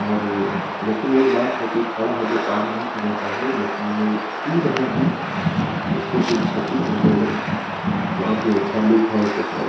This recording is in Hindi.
और ए लेकिन एक बात है कि खड़ा होकर पानी नहीं पीना चाहिए लेकिन ये पी रहै हैं इसको कुछ छती पहुंचेगा बहुत ही अच्छा लुक है ये सब का--